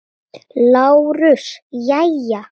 LÁRUS: Jæja!